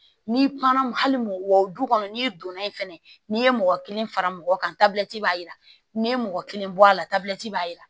N'i kumana hali wa o du kɔnɔ n'i donna yen fɛnɛ n'i ye mɔgɔ kelen fara mɔgɔ kan tabila b'a yira n'i ye mɔgɔ kelen bɔ a la tabila b'a yira